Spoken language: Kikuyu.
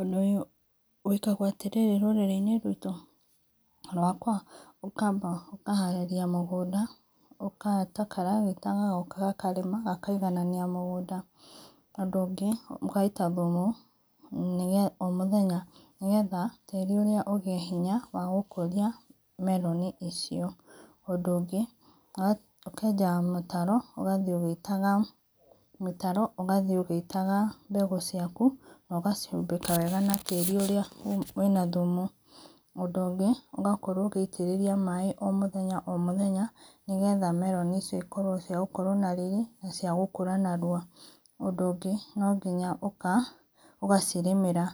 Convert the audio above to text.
Ũndũ ũyũ wĩkagwo atĩ rĩrĩ rũrĩrĩinĩ rwĩto kana rwakwa ũkaba ũkaharĩrĩa mũgũnda ũgeta karagĩta gagoka gakarĩma gakaigananĩa mũgũnda, ũndũ ũngĩ mũgaĩta thũmũ o mũthenya nĩgetha tĩri ũrĩa ũgĩe hĩnya wa gũkũrĩa meroni icio, ũndũ ũngĩ ũkenja mĩtaro ũgathĩ ũgĩ ĩtaga mĩtaro ũgathĩe ũgĩitaga mbegũ ciakũ na ũkacihũmbĩka wega na tĩri ũrĩa wĩna thũmũ, ũndũ ũngĩ ũgakorwo ũgĩitĩrĩrĩa maĩ o mũthenya o mũthenya nĩgetha meroni icio ĩkorwo cia gũkorwo na rĩrĩ na cia gũkũra narũa. Undũ ũgĩ nogĩnya ũga ũgacirĩmĩra